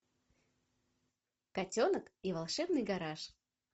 котенок и волшебный гараж